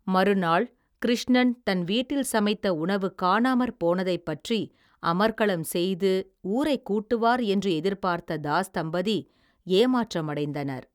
மறுநாள் கிருஷ்ணன் தன் வீட்டில் சமைத்த உணவு காணாமற் போனதை பற்றி அமர்க்களம் செய்து ஊரைக் கூட்டுவார் என்று எதிர்பார்த்த தாஸ் தம்பதி ஏமாற்றமடைந்தனர்.